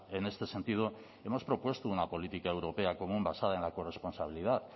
en este sentido hemos propuesto una política europea común basada en la corresponsabilidad